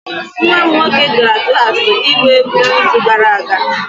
nwa m nwoke gara klas ịgba egwu n'izu gara aga